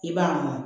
I b'a bɔ